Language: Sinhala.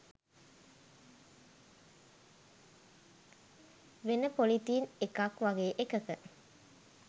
වෙන පොලිතීන් එකක් වගේ එකක